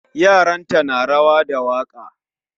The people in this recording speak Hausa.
Yaranta na rawa da waka